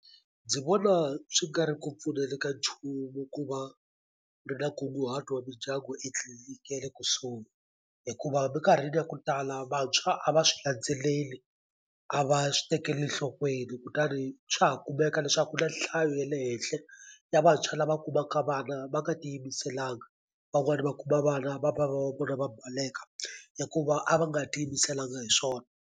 Ndzi vona swi nga ri ku pfuneni ka nchumu ku va ri na nkunguhato wa mindyangu etliliniki ya le kusuhi hikuva minkarhini ya ku tala vantshwa a va swi landzeleli a va swi tekeli nhlokweni kutani swa ha kumeka leswaku na nhlayo ya le henhla ya vantshwa lava kumaka vana va nga ti yimiselanga van'wani va kuma vana va bava va vvonaa baleka hikuva a va nga ti yimiselanga hi swona.